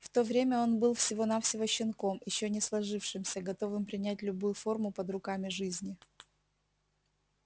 в то время он был всего навсего щенком ещё не сложившимся готовым принять любую форму под руками жизни